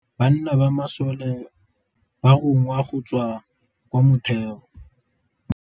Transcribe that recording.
Ka nakô ya dintwa banna ba masole ba rongwa go tswa kwa mothêô.